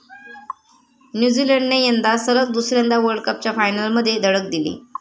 न्यूझीलंडने यंदा सलग दुसऱ्यांदा वर्ल्डकपच्या फायनलमध्ये धडक दिली.